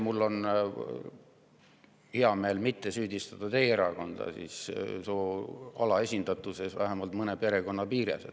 Mul on hea meel, et ma ei saa teie erakonda süüdistada soo alaesindatuses vähemalt mõne perekonna piires.